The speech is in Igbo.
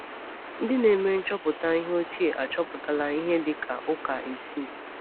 Ndị na-eme nchọpụta ihe ochie achọpụtala ihe dị ka ụka isii.